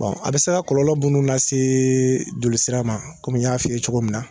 Bɔn a be se kɔlɔlɔ dɔnuw lase jolisira m komi n y'a f'i ye cogo min na